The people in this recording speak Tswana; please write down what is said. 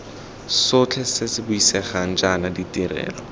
sotlhe se buisegang jaana ditirelo